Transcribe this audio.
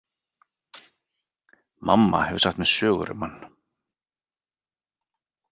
Mamma hefur sagt mér sögur um hann.